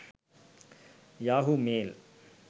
yahoo mail